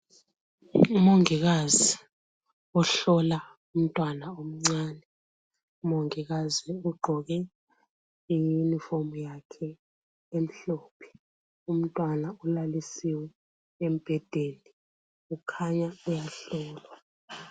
Umongikazi ohlola umntwana omncane. Ugqoke iyunifomu yakhe emhlophe. Umntwana ulalisiwe embhedeni, kukhanya uyahlolwa.